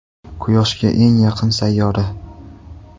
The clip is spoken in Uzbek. Quyoshga eng yaqin sayyora.